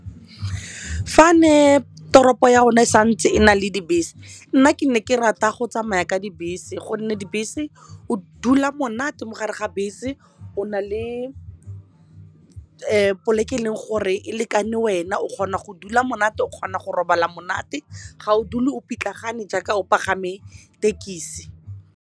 Fa be toropo ya rona e santse e na le dibese nna ke ne ke rata go tsamaya ka dibese gonne dibese o dula monate mo gare ga bese o na le e poleke e leng gore e lekane wena o kgona go dula monate o kgona go robala monate ga o dule o pitlagane jaaka o pagame thekisi.